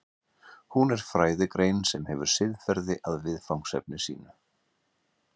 Hún er fræðigrein sem hefur siðferði að viðfangsefni sínu.